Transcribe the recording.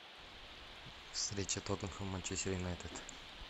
встреча тоттенхэм манчестер юнайтед